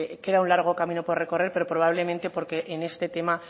que queda un largo recorrido por recorrer pero probablemente porque en este tema